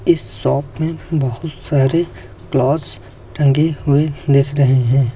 इस शॉप में बहुत सारे क्लॉथ्स टंगे हुए दिख रहे हैं।